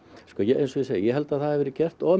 eins og ég segi ég held að það hafi verið of